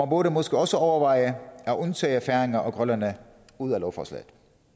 burde måske også overveje at tage færinger og grønlændere ud af lovforslaget